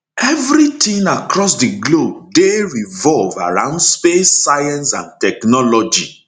evri tin across di globe dey revolve around space science and technology